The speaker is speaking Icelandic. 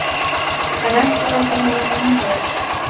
En ekki láta hann fá myndavélina!